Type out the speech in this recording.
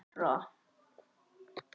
Kristín og Þóra.